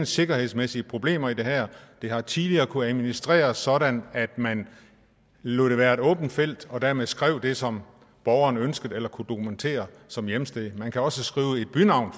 sikkerhedsmæssige problemer i det her det har tidligere kunnet administreres sådan at man lod det være et åbent felt og dermed skrev det som borgeren ønskede eller kunne dokumentere som hjemsted man kan også skrive et bynavn